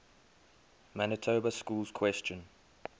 manitoba schools question